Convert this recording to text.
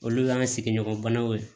Olu y'an sigiɲɔgɔnbanaw ye